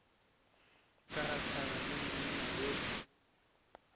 ke gahlane le monna yola